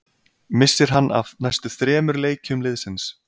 Missir hann af næstu þremur leikjum liðsins.